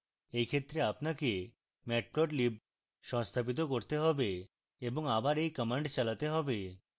in ক্ষেত্রে আপনাকে matplotlib সংস্থাপিত করতে have এবং আবার in command চালাতে have